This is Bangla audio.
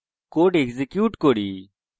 code execute করি